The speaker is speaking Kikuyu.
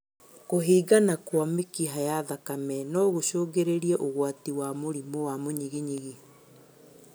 Kũhingana kwa mĩkiha ya thakame nogũcũngĩrie ũgwati wa mũrimũ wa mũĩnyiginyigi